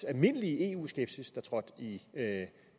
almindelige eu skepsis der trådte i